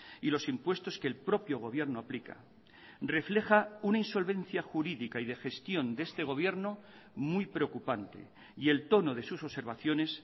y los impuestos que el propio gobierno aplica refleja una insolvencia jurídica y de gestión de este gobierno muy preocupante y el tono de sus observaciones